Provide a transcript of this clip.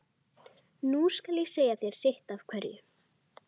Nú skal ég segja þér sitt af hverju.